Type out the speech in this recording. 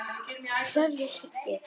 Kveðja, Siggi.